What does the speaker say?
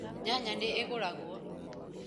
Nyanya nĩ ĩgũragwo